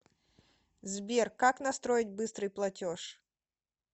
сбер как настроить быстрый платеж